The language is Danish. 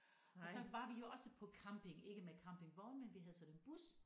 Og så var vi jo også på camping ikke med campingvogn men vi havde sådan en bus